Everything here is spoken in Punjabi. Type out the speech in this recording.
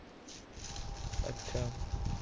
ਅੱਛਾ